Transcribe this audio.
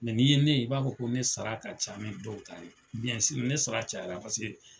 Mɛ n'i ye ne ye i b'a fɔ ko ne sara ka ca ni dɔw ta ye. ne sara cayara paseke